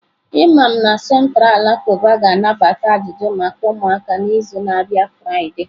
Imam na Central alakụba ga-anabata ajụjụ maka ụmụaka n'izu na-abịa Friday.